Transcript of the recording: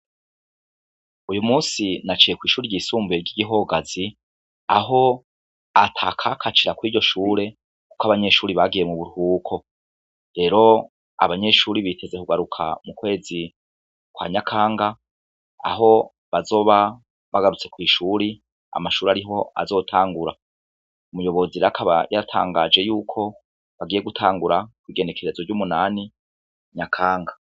Uyu musi naciye kw'ishuri ryisumbuye ry'igihogazi aho ata kakacira kw iryo shure, kuko abanyeshuri bagiye mu burhuko rero abanyeshuri biteze kugaruka mu kwezi kwa nyakanga aho bazoba bagarutse kw'ishuri amashuri ariho azota angura umuyobozi rakaba yatangaje yuko bagiye gutangura ku igenekerezo ry'umunani nyakanka.